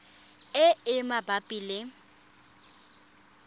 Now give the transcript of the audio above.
le e e mabapi le